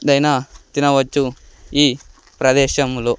దైనా తినవచ్చు ఈ ప్రదేశంలో.